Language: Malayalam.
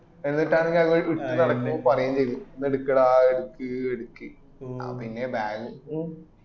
എന്നിട്ട് അന്ന് ഇട്ട് നടക്കുമ്പോൾ പറയേം ചെയ്ത് ഒന്ന്പി എടക്കട ഇടക്ക്‌ ഇടക്ക്ന്നെ bag ഉം